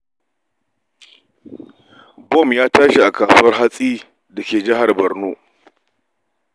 Bom ya tashi a kasuwar hatsi da ke jihar Borno.